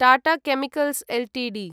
Tata chemicals Ltd